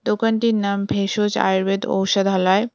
দোকানটির নাম ভেষজ আয়ুর্বেদ ঔষধালয়।